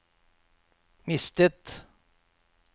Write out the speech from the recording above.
mistet